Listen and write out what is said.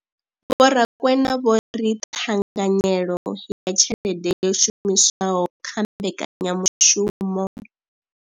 Vho Rakwena vho ri ṱhanganyelo ya tshelede yo shumiswaho kha mbekanya mushumo.